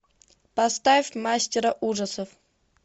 поставь мастера ужасов